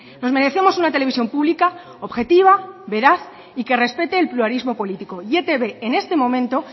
nos merecemos una televisión pública objetiva veraz y que respete el pluralismo político y etb en este momento